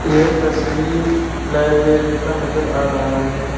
यह तस्वीर लाइब्रेरी का नजर आ रहा है।